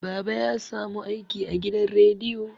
baba ya samu aiki a gidan reiyo